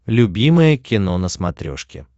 любимое кино на смотрешке